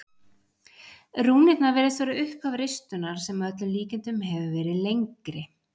Rúnirnar virðast vera upphaf ristunnar sem að öllum líkindum hefur verið lengri.